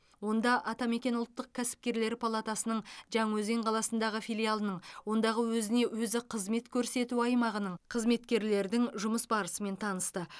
онда атамекен ұлттық кәсіпкерлер палатасының жаңаөзен қаласындағы филиалының ондағы өзіне өзі қызмет көрсету аймағының қызметкерлердің жұмыс барысымен танысты